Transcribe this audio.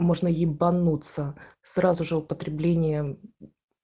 можно ебанутся сразу же употребление